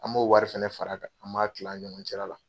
An b'o wari fɛnɛ fara kan, an b'a kila an ni ɲɔgɔn cɛla la.